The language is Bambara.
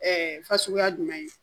fasuguya jumɛn ye